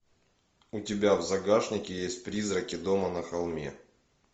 у тебя в загашнике есть призраки дома на холме